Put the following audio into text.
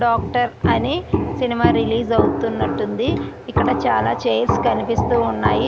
Doctor అని cinema release అవుతున్నట్టు ఉంది. ఇక్కడ చాలా చైర్స్ కనిపిస్తూ ఉన్నాయి.